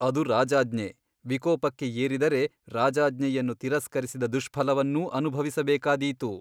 ಅದು ರಾಜಾಜ್ಞೆ ವಿಕೋಪಕ್ಕೆ ಏರಿದರೆ ರಾಜಾಜ್ಞೆಯನ್ನು ತಿರಸ್ಕರಿಸಿದ ದುಷ್ಫಲವನ್ನೂ ಅನುಭವಿಸಬೇಕಾದೀತು.